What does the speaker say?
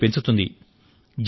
ఆదాయాన్ని పెంచుతుంది